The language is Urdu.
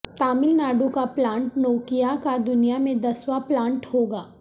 تامل ناڈو کا پلانٹ نوکیا کا دنیا میں دسواں پلانٹ ہو گا